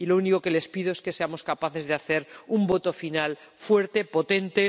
Lo único que les pido es que seamos capaces de hacer un voto final fuerte, potente.